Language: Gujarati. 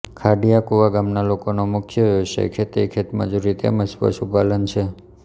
ખાંડીયાકુવા ગામના લોકોનો મુખ્ય વ્યવસાય ખેતી ખેતમજૂરી તેમ જ પશુપાલન છે